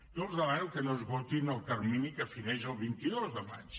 jo els demano que no esgotin el termini que fineix el vint dos de maig